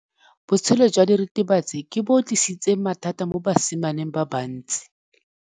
Botshelo jwa diritibatsi ke bo tlisitse mathata mo basimaneng ba bantsi.